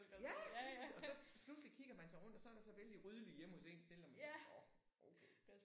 Ja lige præcis og så pludselig kigger man sig rundt og så er der så vældig ryddeligt hjemme hos en selv og man tænker nåh okay